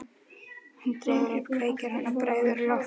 Hún dregur upp kveikjara og bregður á loft.